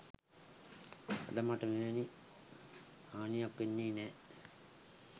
අද මට මෙවැනි හානියක් වෙන්නේ නෑ.